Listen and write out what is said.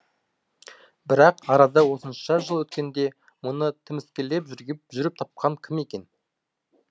бірақ арада осынша жыл өткенде мұны тіміскілеп жүріп тапқан кім екен